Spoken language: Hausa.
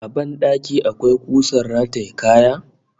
A ban dakin ka akwai kusar rataye kaya?